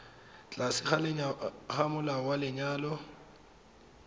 tlase ga molao wa lenyalo